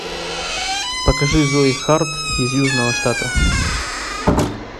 покажи зои харт из южного штата